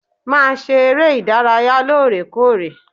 Màá ṣe eré ìdárayá lóòrèkóòrè.